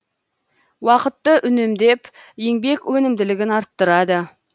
уақытты үнемдеп еңбек өнімділігін арттырады